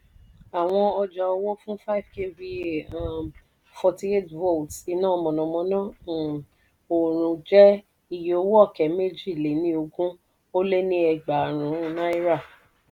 àwọn ọjà owó fún five kva um forty eight volts iná mọ̀nàmọ́ná um òòrùn jẹ́ iye owó ọ̀kẹ́ mèjì-lé-ní-ogún ́o lé ni ẹgbàárún náírà.